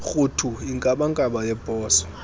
rhuthu inkabankaba yebhozo